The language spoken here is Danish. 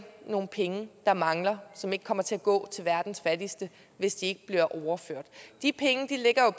nogle penge der mangler som ikke kommer til at gå til verdens fattigste hvis de ikke bliver overført de penge ligger jo